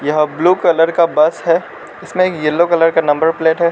यह blue colour का bus है इसमें येलो कलर का नंबर प्लेट है।